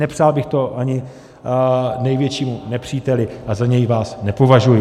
Nepřál bych to ani největšímu nepříteli a za něj vás nepovažuji.